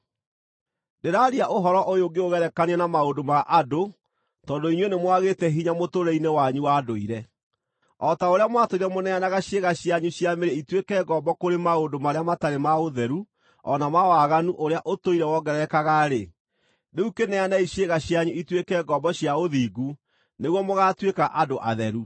Ndĩraaria ũhoro ũyũ ngĩũgerekanagia na maũndũ ma andũ tondũ inyuĩ nĩmwagĩte hinya mũtũũrĩre-inĩ wanyu wa ndũire. O ta ũrĩa mwatũire mũneanaga ciĩga cianyu cia mĩĩrĩ ituĩke ngombo kũrĩ maũndũ marĩa matarĩ ma ũtheru o na ma waganu ũrĩa ũtũire wongererekaga-rĩ, rĩu kĩneanei ciĩga cianyu ituĩke ngombo cia ũthingu nĩguo mũgaatuĩka andũ atheru.